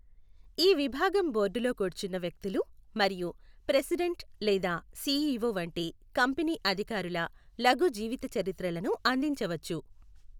ఈ విభాగం బోర్డులో కూర్చున్న వ్యక్తులు మరియు ప్రెసిడెంట్ లేదా సిఇఒ వంటి కంపెనీ అధికారుల లఘు జీవితచరిత్రలను అందించవచ్చు.